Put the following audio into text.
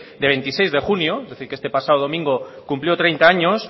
de veintiséis de junio es decir que este pasado domingo cumplió treinta años